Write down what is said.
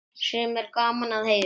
Sem er gaman að heyra.